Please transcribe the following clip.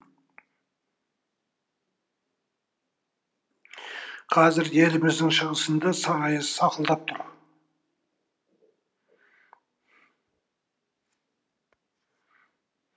қазір еліміздің шығысында сары аяз сақылдап тұр